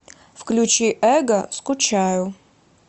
включи эго скучаю